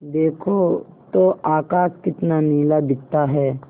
देखो तो आकाश कितना नीला दिखता है